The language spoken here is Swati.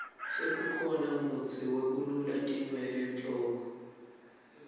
sekukhona mutsi wekulula tinwele enhloko